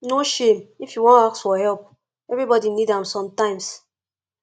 no shame if you wan ask for help everybodi need am sometimes